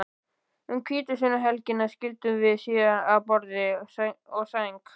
Um hvítasunnuhelgina skildum við síðan að borði og sæng.